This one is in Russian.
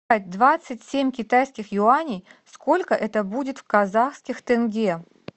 двадцать семь китайских юаней сколько это будет в казахских тенге